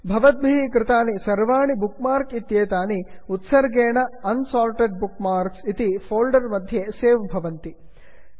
भवद्भिः कृतानि सर्वाणी बुक् मार्क् इत्येतानि उत्सर्गेण unsorted bookmarks unsorted bookmarks इति फोल्डर् मध्ये सेव् भवन्ति